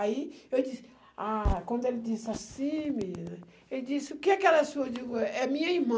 Aí eu disse, ah, quando ele disse assim, menina, ele disse, o que aquela senhora, eu digo, é minha irmã.